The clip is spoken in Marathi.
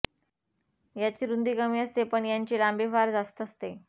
याची रुंदी कमी असते पण यांची लांबी फार जास्त असते